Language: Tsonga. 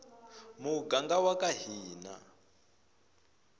muganga waka hina